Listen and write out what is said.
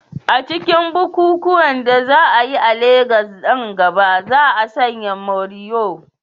A cikin bukukuwan da za a yi a Legas nan gaba, za a sanya morìwò.